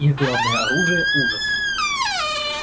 их главное оружие ужас